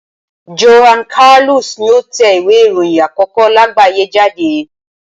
Johann Carolus ni ó tẹ ìwé ìròyìn àkókó láàgbáyé jáde.